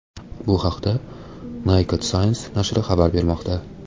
Bu haqda Naked Science nashri xabar bermoqda .